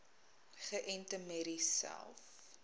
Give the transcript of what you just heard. geënte merries selfs